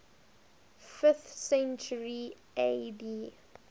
fifth century ad